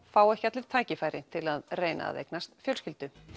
fá ekki allir tækifæri til að reyna að eignast fjölskyldu